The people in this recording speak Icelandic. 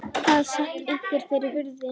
Það sat einhver fyrir hurðinni.